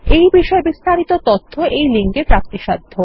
এই বিষয়ে বিস্তারিত তথ্য এইলিঙ্কে প্রাপ্তিসাধ্য